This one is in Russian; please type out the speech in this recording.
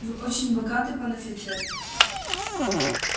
вы очень богаты пан офицер